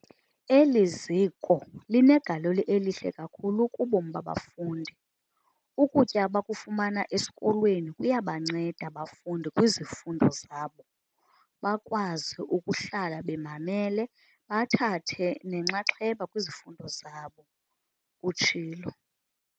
"Eli ziko linegalelo elihle kakhulu kubomi babafundi. Ukutya abakufumana esikolweni kuyabanceda abafundi kwizifundo zabo, bakwazi ukuhlala bemamele bathathe nenxaxheba kwizifundo zabo," utshilo.